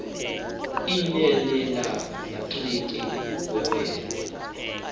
l nelenatriki wawenza